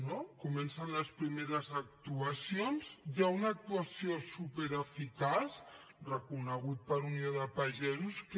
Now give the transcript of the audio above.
no comencen les primeres actuacions hi ha una actuació supereficaç reconeguda per unió de pagesos que